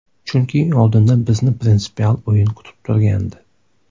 Chunki oldinda bizni prinsipial o‘yin kutib turgandi.